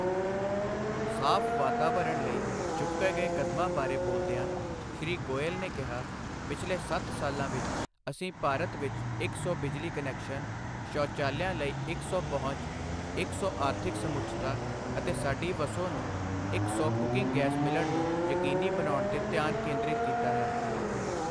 ਸਾਫ ਵਾਤਾਵਰਣ ਲਈ ਚੁੱਕੇ ਗਏ ਕਦਮਾਂ ਬਾਰੇ ਬੋਲਦਿਆਂ ਸ਼੍ਰੀ ਗੋਇਲ ਨੇ ਕਿਹਾ ਪਿਛਲੇ ਸੱਤ ਸਾਲਾਂ ਵਿੱਚ ਅਸੀਂ ਭਾਰਤ ਵਿੱਚ ਇੱਕ ਸੌ ਬਿਜਲੀ ਕਨੈਕਸ਼ਨਸ, ਸੌ਼ਚਾਲਿਆਂ ਲਈ ਇੱਕ ਸੌ ਪਹੁੰਚ, ਇੱਕ ਸੌ ਆਰਥਿਕ ਸਮੁੱਚਤਾ ਅਤੇ ਸਾਡੀ ਵਸੋਂ ਨੂੰ ਇੱਕ ਸੌ ਕੁਕਿੰਗ ਗੈਸ ਮਿਲਣ ਨੂੰ ਯਕੀਨੀ ਬਣਾਉਣ ਤੇ ਧਿਆਨ ਕੇਂਦਰਿਤ ਕੀਤਾ ਹੈ।